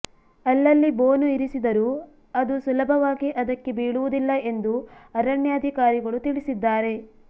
ಅಲ್ಲಲ್ಲಿ ಬೋನು ಇರಿಸಿದರೂ ಅದು ಸುಲಭವಾಗಿ ಅದಕ್ಕೆ ಬೀಳುವುದಿಲ್ಲ ಎಂದು ಅರಣ್ಯಾಧಿಕಾರಿಗಳು ತಿಳಿಸಿದ್ದಾರೆ